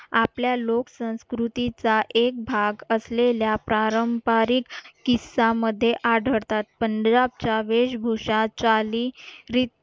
आपल्या लोक संस्कृतीचा एक भाग असलेल्या पारंपारिक किस्सा मध्ये आढळतात पंजाबचा वेशभूषा चाली